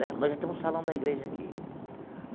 Né nós já temos salão da igreja aqui.